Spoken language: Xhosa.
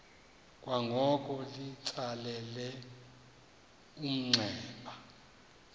kwangoko litsalele umnxeba